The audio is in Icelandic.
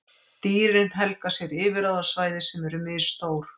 Dýrin helga sér yfirráðasvæði sem eru misstór.